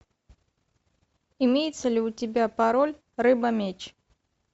имеется ли у тебя пароль рыба меч